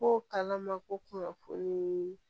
Ko kalan ma ko kunnafoni